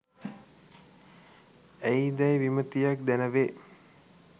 ඇයි දැයි විමතියක් දැන වේ.